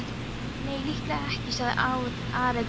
Nei, líklega ekki, sagði Ari dræmt.